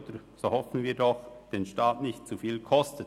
Zumindest hoffen wir, dass er den Staat nicht zu viel kostet.